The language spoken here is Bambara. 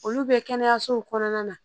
Olu bɛ kɛnɛyasow kɔnɔna na